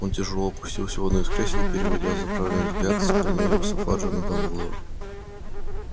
он тяжёло опустился в одно из кресел переводя заправленный взгляд с корнелиуса фаджа на дамблдора